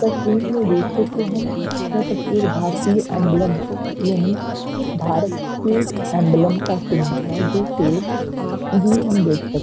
तस्वीर में देखे तो हम। यह तस्वीर भारतीय एम्बलम यानी भारत के एम्बलम का चिन्ह है जो सेज अभी हम देख सकते हैं।